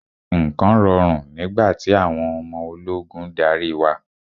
Nǹkan rọrùn nígbà tí àwọn ọmọ ológun ń darí wa.